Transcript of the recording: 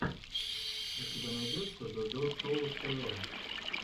у тебя найдется додо шоу тв